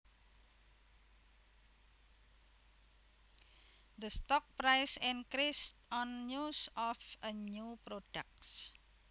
The stock price increased on news of a new product